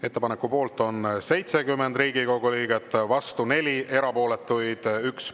Ettepaneku poolt on 70 Riigikogu liiget, vastu 4, erapooletuid 1.